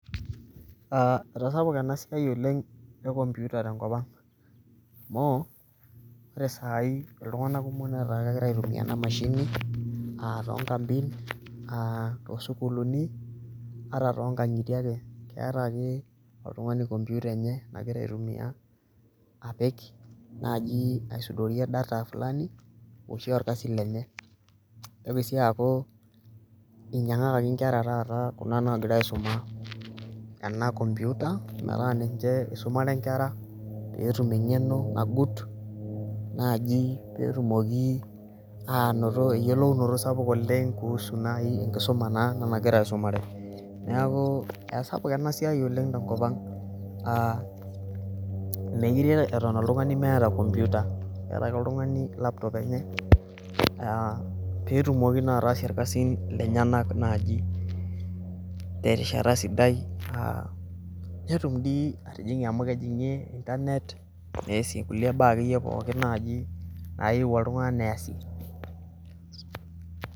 etasapuka enasiai ekompuita tenkopang' amu ore sai iltunganak kumok naa kegira aitumiya ena mashini aa too inkampin, too sukuulini ata too inkang'itie ake eta ake oltungani kompuita enye nagira aitumiya, apik naji asudorie data fulani oshi olkasi lenye nitoki sii aku inyangaki inkera naa kuna nagira aisuma enakompuita, niche isumare inkera pee etum eng'eno nagut naaji pee etumoki anoto eyiolounoto sapuk oleng kuhusu entoki nagira aisumare, neeku esiai enasapuk oleng tenkopang' mookire eton oltungani meeta kompuita, keeta oltungani laptop enye pee etum naa atasie esiai enye netum atijingie internet.